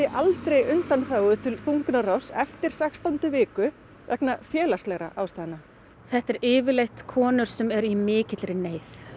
aldrei undanþágu til þungunarrofs eftir sextándu viku vegna félagslegra ástæðna þetta eru yfirleitt konur sem eru í mikilli neyð